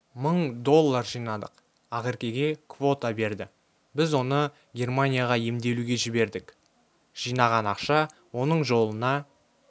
мың доллар жинадық ақеркеге квота берді біз оны германияға емделуге жібердік жинаған ақша оның жолына